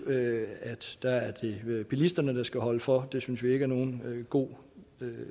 det er bilisterne der skal holde for det synes vi ikke er nogen god